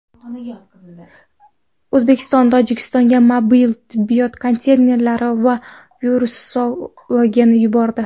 O‘zbekiston Tojikistonga mobil tibbiyot konteynerlari va virusologlarni yubordi.